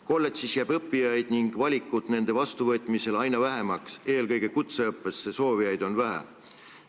Kolledžis jääb õppijaid ning ka valikut õppijate vastuvõtmisel aina vähemaks, eelkõige kutseõppesse soovijaid on vähe.